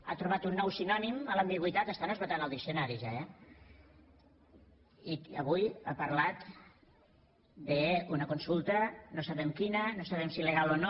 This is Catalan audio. ha trobat un nou sinònim a l’ambigüitat estan esgotant els diccionaris ja eh i avui ha parlat d’una consulta no sabem quina no sabem si legal o no